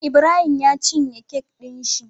Ibrahim ya cine kek din shi